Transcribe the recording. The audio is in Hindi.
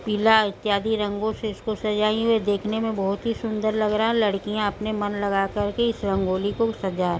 पीला इत्यादि रंगों से इसको सजाया हुए देखने में बोहोत ही सुंदर लग रहा है लड़कियां अपने मन लगाकर किस रंगोली को सजा --